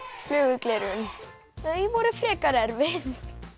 flugugleraugun þau voru frekar erfið